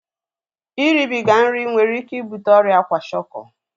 Iribiga nri nwere ike ibute ọrịa kwashiọkọ